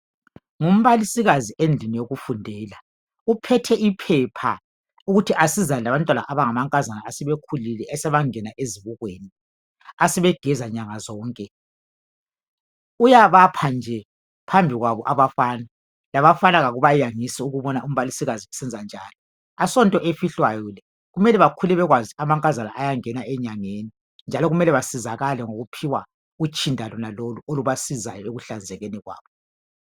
ngumbalisiskazi endlini yokufundela uohethe iphepha ukuthi asizane labantwana abangamankazana asebekhulile asebangena ezibukweni asebegeza nyanga zonke uyabapha nje phambi kwabo abafana labafana akubayangisi ukubona umbalisikazi esenza njalo asonto efihlwayo le kumele bekhule bekwazi amankazana ayangena enyangeni njalo kumele besizakale ngokuphiwa utshinda lonalolu olubasizayo ekuhlanzekeni kwabo